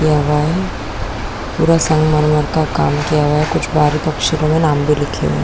यहाँ पूरा संगमरमर का काम किया हुआ है कुछ बारीक अक्षरों में नाम भी लिखे हुए हैं।